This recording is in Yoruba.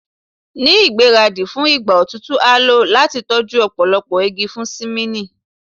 Ni igbaradi fun igba otutu a lo lati tọju ọpọlọpọ igi fun simini